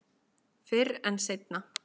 Fyrr en seinna.